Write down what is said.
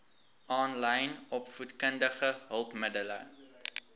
aanlyn opvoedkundige hulpmiddele